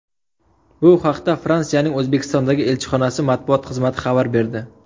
Bu haqda Fransiyaning O‘zbekistondagi elchixonasi matbuot xizmati xabar berdi .